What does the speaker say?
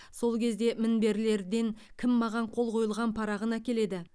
сол кезде мінберлерден кім маған қол қойылған парағын әкеледі